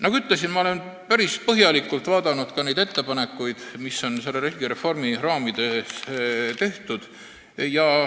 Nagu ütlesin, ma olen päris põhjalikult vaadanud neid ettepanekuid, mida on selle riigireformi raames tehtud.